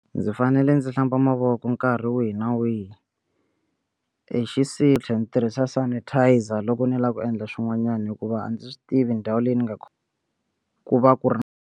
Ndzi fanele ndzi hlamba mavoko nkarhi wihi na wihi hi tlhe ni tirhisa sanitizer loko ni lava ku endla swin'wanyana hikuva a ndzi swi tivi ndhawu leyi ni nga ku va ku ri.